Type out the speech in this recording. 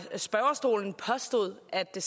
det